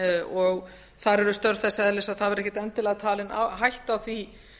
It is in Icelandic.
og þar eru störf þess eðlis að það verður ekkert endilega talin hætta á því